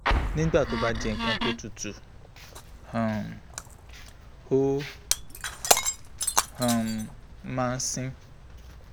nígbà tó bá jẹ́ nkan tó tutù um ó um máa ń sin